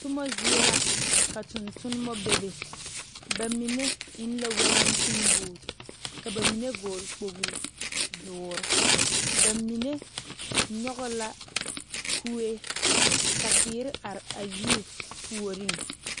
Tuma zie la ka tontuma bebe bamine eŋ la walante boo ka bamine vɔgle kpole doɔre bamine nyoŋ la kue ka teere are a yiri puori.